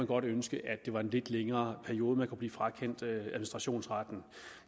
godt ønske at det var i en lidt længere periode man kunne blive frakendt administrationsretten